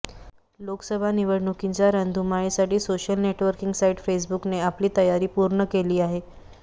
लोकसभा निवडणुकींच्या रणधुमाळीसाठी social networking site फेसबुकने आपली तयारी पूर्ण केली आहे